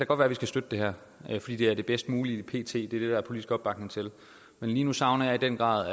godt være vi skal støtte det her fordi det er det bedst mulige pt det er er politisk opbakning til men lige nu savner jeg i den grad